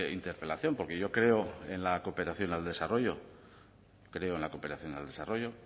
interpelación porque yo creo en la cooperación al desarrollo creo en la cooperación al desarrollo